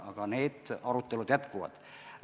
Aga need arutelud jätkuvad.